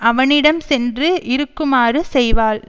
அவனிடம் சென்று இருக்குமாறு செய்வாள்